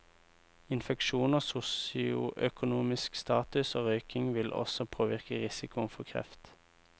Infeksjoner, sosioøkonomisk status og røyking vil også påvirke risikoen for kreft.